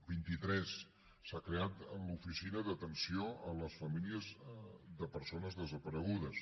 vint i tres s’ha creat l’oficina d’atenció a les famílies de persones desaparegudes